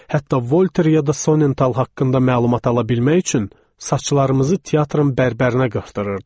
Hətta Voltere ya da Sonental haqqında məlumat ala bilmək üçün saçlarımızı teatrın bərbərinə qırdırırdıq.